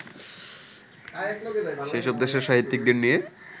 সেসব দেশের সাহিত্যিকদের নিয়ে